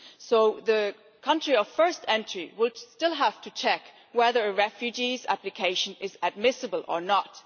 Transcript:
So the country of first entry would still have to check whether a refugee's application is admissible or not.